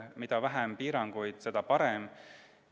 Mida vähem piiranguid, seda parem.